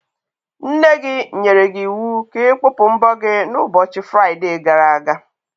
Nne gị nyere gị iwu ka ị kpụpụ mbọ gị n'ụbọchị Fraide gara aga.